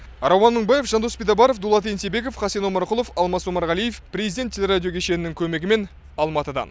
рауан мыңбаев жандос битабаров дулат ентебеков хасен омарқұлов алмас омарғалиев президент телерадио кешенінің көмегімен алматыдан